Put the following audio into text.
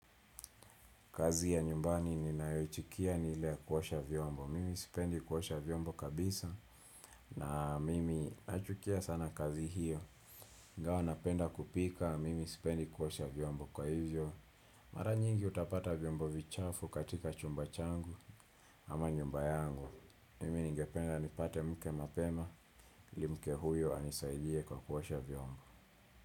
Kazi ya nyumbani ninayoichukia ni ile ya kuosha vyombo. Mimi sipendi kuosha vyombo kabisa na mimi nachukia sana kazi hiyo. Ingawa napenda kupika, mimi sipendi kuosha vyombo kwa hivyo. Mara nyingi utapata vyombo vichafu katika chumba changu ama nyumba yangu. Mimi ningependa nipate mke mapema. Mke huyo anisaidie kwa kuosha vyombo.